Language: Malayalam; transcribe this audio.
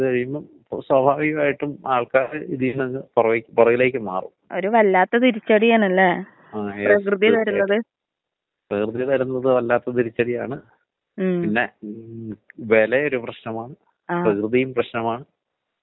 ആ ആ ആ. ഈ വാതം എന്ന് പറയൂലേ, ഇതാണങ്കി ഈ സന്ധി വാതം എന്ന് പറയൂലെ, ഇതിപ്പോ എല്ലാവർക്കും ഈ ക്ലൈമെറ്റിലക്ക ഇരിക്കുമ്പ ഈ കാലാവസ്ഥക്ക് നമ്മള് രാവിലെ എഴുന്നേക്കുമ്പഴ് ദേഹവേദനയും അതൊക്കെ ഇരിക്കൂലേ? അപ്പം ഇതും അതും നമ്മള് എങ്ങനെയാണ് കണ്ട്പിടിക്കേണ്ടത്?